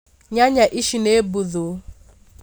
Nyanya Ici nĩ mbuthu